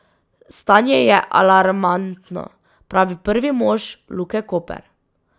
Stanje je alarmantno, pravi prvi mož Luke Koper.